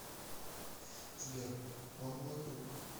сбер он мой друг